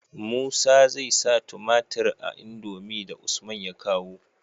Musa zai sa tumatir a indomie da usman ya kawo